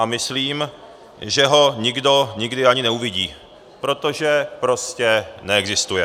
A myslím, že ho nikdo nikdy ani neuvidí, protože prostě neexistuje.